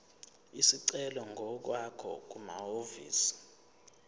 isicelo ngokwakho kumahhovisi